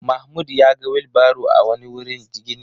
Mahmud ya ga wilbaro a wani wurin gini.